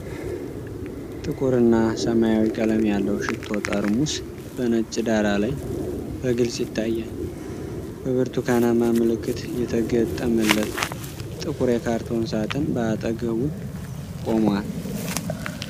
ጥቁር እና ሰማያዊ ቀለም ያለው ሽቶ ጠርሙስ በነጭ ዳራ ላይ በግልጽ ይታያል። በብርቱካናማ ምልክት የተገጠመለት ጥቁር የካርቶን ሳጥን በአጠገቡ ቆሟል።